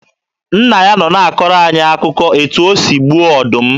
Nna ya nọ na-akọrọ anyị akụkọ etu o si gbuo ọdụm.